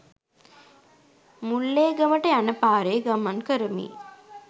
මුල්ලේගමට යන පාරේ ගමන් කරමි